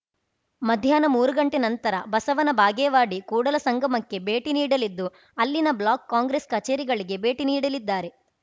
ಮಧ್ಯಾಹ್ನ ಮೂರು ಗಂಟೆ ನಂತರ ಬಸವನಬಾಗೇವಾಡಿ ಕೂಡಲಸಂಗಮಕ್ಕೆ ಭೇಟಿ ನೀಡಲಿದ್ದು ಅಲ್ಲಿನ ಬ್ಲಾಕ್‌ ಕಾಂಗ್ರೆಸ್‌ ಕಚೇರಿಗಳಿಗೆ ಭೇಟಿ ನೀಡಲಿದ್ದಾರೆ